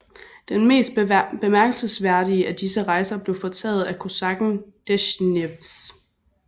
Den mest bemærkelsesværdige af disse rejser blev foretaget af kosakken Desjnevs